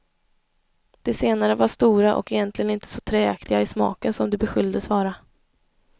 De senare var stora och egentligen inte så träaktiga i smaken som de beskylldes vara.